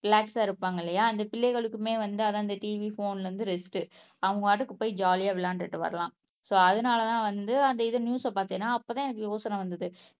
ரிலாக்ஸா இருப்பாங்க இல்லையா அந்த பிள்ளைகளுக்குமே வந்து அதான் அந்த TV போன்ல இருந்து ரெஸ்ட் அவங்க பாட்டுக்கு போய் ஜாலியா விளையாண்டுட்டு வரலாம் சோ அதனாலதான் வந்து அந்த இது நியூஸ் பார்த்தேன்னா அப்பதான் எனக்கு யோசனை வந்தது